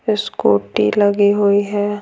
Scooty लगी हुई है।